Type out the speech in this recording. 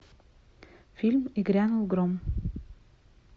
фильм и грянул гром